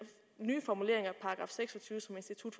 nye formulering af § seks og tyve som institut